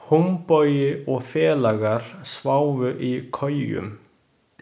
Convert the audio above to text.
Húnbogi og félagar sváfu í kojum.